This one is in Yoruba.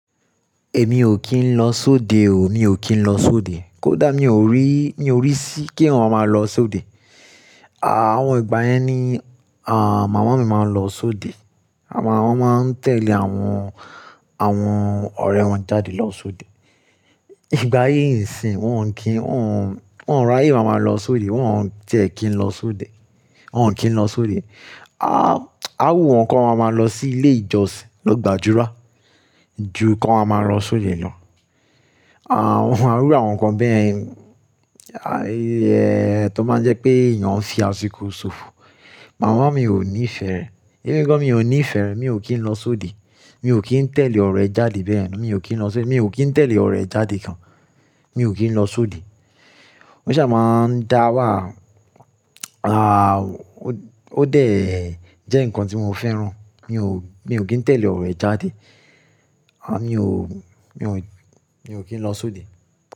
Èmi ò kí ń lọ sóde o, mi ò kí ń lọ sóde. Kódà mi ò rí, ní orí sí kí eeyan máa lọ sóde. Àwọn ìgbà yẹn ni, à, màmá mi máa ń lọ sóde. Àwọn, wọ́n máa ń tẹ̀lé àwọn, àwọn ọ̀rẹ́ wọn jáde lọ sóde. Ìgbà yìí ńsì, wọ́n ò ń kí, wọ́n ò ń, wọ́n ò ráyè máa lọ sóde, wọ́n ò ń jẹ́ kí ń lọ sóde. Wọn ò kí ń lọ sóde. A, a wu wọn kan máa ma lọ sí ilé ìjọsìn lọ́gbà adura, ju kan máa ma lọ sóde lọ. À, wọ́n fun ra won rí àwọn nǹkan bẹ́e yen, tó máa ń jẹ́ pé èèyàn ó ń fi àsìkò ṣòfò. Màmá mi ò ní ìfẹ́ rẹ̀. Emi gan ò ní ìfẹ́ rẹ̀, mi ò kí ń lọ sóde. Mi ò kí ń tẹ̀lé ọ̀rẹ́ jáde bẹ́ẹ̀ yen. Mi ò kí ń lọ sóde, mi ò kí ń tẹ̀lé ọ̀rẹ́ jáde gan. Mi ò kí ń lọ sóde. Mo ṣà máa ń dá wàa. À, ó, ó dé jẹ́ nǹkan tí mo fẹ́ràn. Mi ò, mi ò kí ń tẹ̀lé ọ̀rẹ́ jáde. À, mi ò, mi ò, mi ò kí ń lọ sóde.